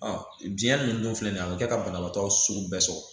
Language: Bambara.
diɲɛ ninnu dun filɛ nin ye a bɛ kɛ ka banabaatɔ sugu bɛɛ sɔrɔ